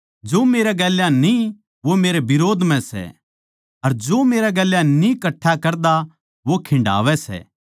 जो मेरै गेल्या न्ही वो मेरै बिरोध म्ह सै अर जो मेरै गेल्या न्ही कट्ठा करदा वो खिंडावै सै